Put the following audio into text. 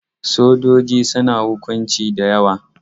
Sojoji suna hukunci da yawa.